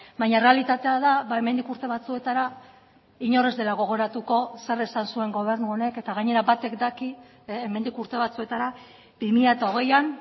baina errealitatea da hemendik urte batzuetara inor ez dela gogoratuko zer esan zuen gobernu honek eta gainera batek daki hemendik urte batzuetara bi mila hogeian